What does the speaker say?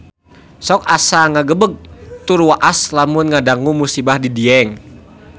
Sok asa ngagebeg tur waas lamun ngadangu musibah di Dieng